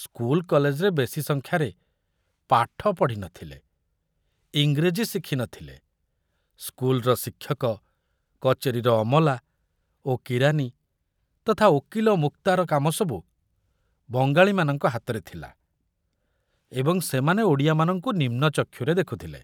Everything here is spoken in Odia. ସ୍କୁଲ କଲେଜରେ ବେଶି ସଂଖ୍ୟାରେ ପାଠ ପଢ଼ି ନ ଥିଲେ, ଇଂରେଜୀ ଶିଖୁ ନ ଥିଲେ, ସ୍କୁଲର ଶିକ୍ଷକ, କଚେରୀର ଅମଲା ଓ କିରାନୀ ତଥା ଓକିଲ ମୁକ୍ତାର କାମ ସବୁ ବଙ୍ଗାଳୀମାନଙ୍କ ହାତରେ ଥିଲା ଏବଂ ସେମାନେ ଓଡ଼ିଆମାନଙ୍କୁ ନିମ୍ନ ଚକ୍ଷୁରେ ଦେଖୁଥିଲେ।